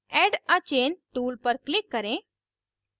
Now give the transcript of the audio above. add a chain tool पर click करें